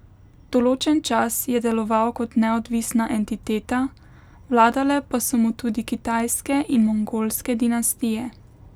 Določen čas je deloval kot neodvisna entiteta, vladale pa so mu tudi kitajske in mongolske dinastije.